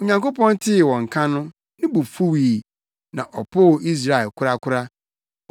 Onyankopɔn tee wɔn nka no, ne bo fuwii; na ɔpoo Israel korakora.